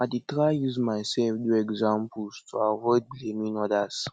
i dey try use myself do example to avoid blaming odas